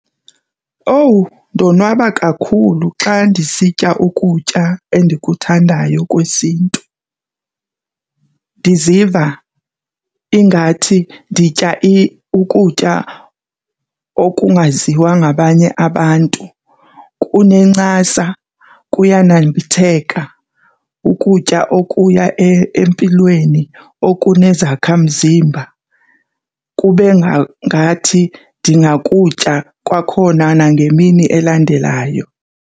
Owu, ndonwaba kakhulu xa ndisitya ukutya endikuthandayo kwesiNtu! Ndiziva ingathi nditya ukutya okungaziwa ngabanye abantu. Kunencasa kuyanambitheka ukutya okuya empilweni okunezakha mzimba kube ngathi ndingakutya kwakhona nangemini elandelayo.